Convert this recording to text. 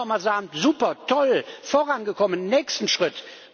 Da kann man doch mal sagen super, toll, vorangekommen, nächster Schritt!